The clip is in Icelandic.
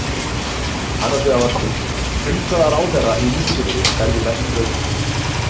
Annars vegar var spurt: Til hvaða ráðherra í ríkisstjórninni berðu mest traust?